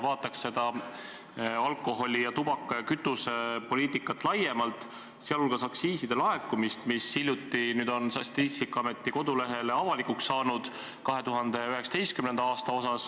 Vaataks meie alkoholi-, tubaka- ja kütusepoliitikat laiemalt, sealhulgas aktsiiside laekumist 2019. aastal, mis hiljuti Statistikaameti kodulehel avalikuks tehti.